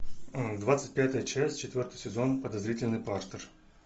двадцать пятая часть четвертый сезон подозрительный партер